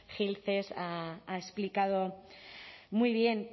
gil ha explicado muy bien